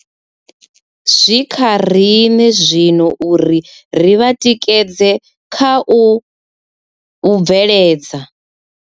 Zwi kha riṋe zwino uri ri vha tikedze kha u u bveledza.